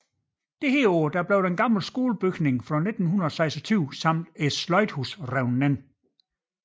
Dette år blev den gamle skolebygning fra 1926 samt sløjdhuset revet ned